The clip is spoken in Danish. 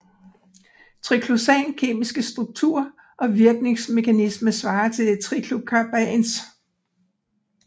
Triclosans kemiske struktur og virkningsmekanisme svarer til triclocarbans